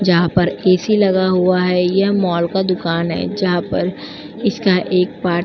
जहां पर ए.सी. लगा हुआ है। यह मॉल का दुकान है जहां पर इसका एक पार --